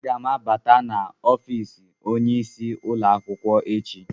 Aga m abata n'ọfịs onyeisi ụlọ akwụkwọ echi.